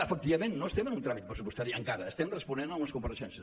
efectivament no estem en un tràmit pressupostari encara estem responent a unes compareixences